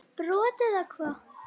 brot eða hvað?